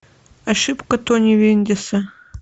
ошибка тони вендиса